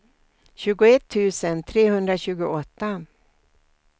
tjugoett tusen trehundratjugoåtta